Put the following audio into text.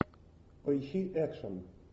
поищи экшн